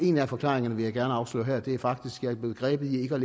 en af forklaringerne vil jeg gerne afsløre her og det er faktisk er blevet grebet i ikke at